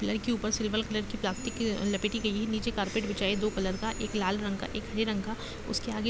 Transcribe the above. Pillar के ऊपर silver colour की प्लास्टिक लपेटी गई है। नीचे कार्पेट बिछा है दो कलर का एक लाल रंग का एक हरे रंग का। उसके आगे--